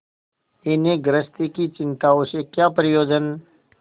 इन्हें गृहस्थी की चिंताओं से क्या प्रयोजन